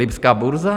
Lipská burza?